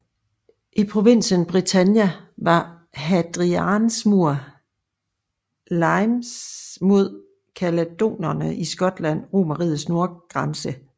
I provinsen Britannia var Hadrians mur limes mod caledonerne i Skotland Romerrigets nordgrænse